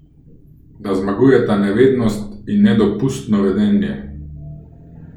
Da zmagujeta nevednost in nedopustno vedenje?